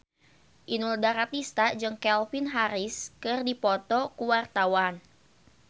Inul Daratista jeung Calvin Harris keur dipoto ku wartawan